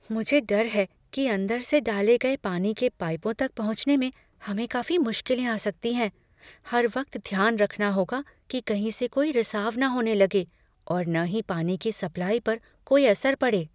मुझे डर है कि अंदर से डाले गए पानी के पाइपों तक पहुँचने में हमें काफी मुश्किलें आ सकती हैं हर वक्त ध्यान रखना होगा कि कहीं से कोई रिसाव न होने लगे और न ही पानी की सप्लाई पर कोई असर पड़े।